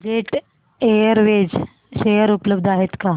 jet Airways share उपलब्ध आहेत का